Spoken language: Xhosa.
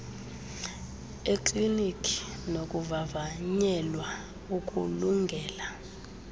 ekliniki nokuvavanyelwa ukulungela